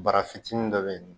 Bara fitinin dɔ be ye nɔ